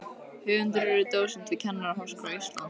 Höfundur er dósent við Kennaraháskóla Íslands.